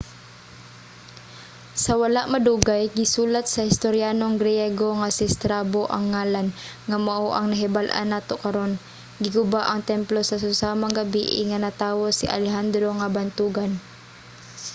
sa wala madugay gisulat sa historyanong griego nga si strabo ang ngalan nga mao ang nahibal-an nato karon. giguba ang templo sa susamang gabii nga natawo si alejandro nga bantogan